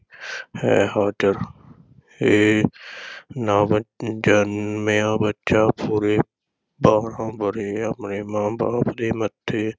ਹੇ ਹਾਜ਼ਰ, ਇਹ ਨਵ-ਜਨਮਿਆ ਬੱਚਾ ਪੂਰੇ ਬਾਰਾਂ ਵਰ੍ਹੇ ਆਪਣੇ ਮਾਂ-ਬਾਪ ਦੇ ਮੱਥੇ